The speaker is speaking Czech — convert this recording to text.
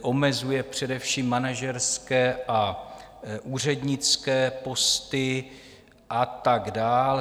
omezuje především manažerské a úřednické posty a tak dál.